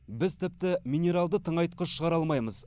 біз тіпті минералды тыңайтқыш шығара алмаймыз